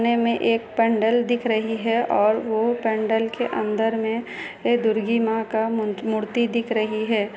पने मे पंडाल दिख रही है और वो पंडाल के अंदर मे दुर्गी मा का मूर्ति दिख रही है।